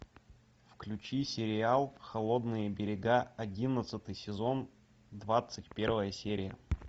включи сериал холодные берега одиннадцатый сезон двадцать первая серия